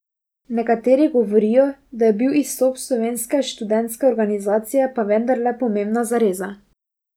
Nekateri govorijo, da je bil izstop slovenske študentske organizacije pa vendarle pomembna zareza.